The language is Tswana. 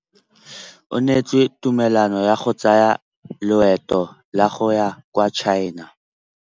O neetswe tumalanô ya go tsaya loetô la go ya kwa China.